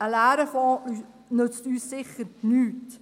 Ein leerer Fonds nützt uns sicher nichts.